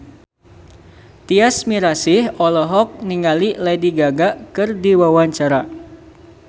Tyas Mirasih olohok ningali Lady Gaga keur diwawancara